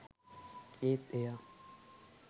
ඒත් එයා